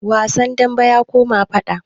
Wasan dambe ya koma faɗa